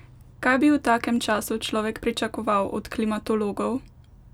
Kaj bi v takem času človek pričakoval od klimatologov?